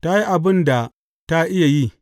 Ta yi abin da ta iya yi.